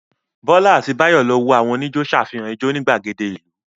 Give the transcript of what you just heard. Fọlá àti Báyọ̀ lọ wo àwọn oníjó ṣàfihàn ijó ní ìgbàgede ìlú.